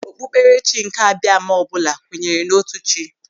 Okpukperechi nke Abiama ọbụla kwenyere n'otu chi.